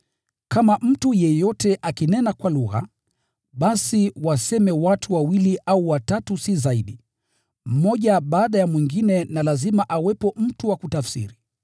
Kama mtu yeyote akinena kwa lugha, basi waseme watu wawili au watatu si zaidi, mmoja baada ya mwingine na lazima awepo mtu wa kutafsiri.